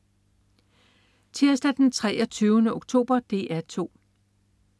Tirsdag den 23. oktober - DR 2: